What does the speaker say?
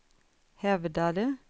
hävdade